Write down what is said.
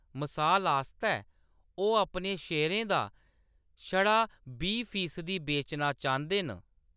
मसाल आस्तै, ओह्‌‌ अपने शेयरें दा छड़ा बीह् फीसदी बेचना चांह्‌‌‌दे न।